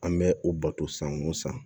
An bɛ o bato san o san